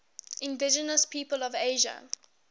indigenous peoples of asia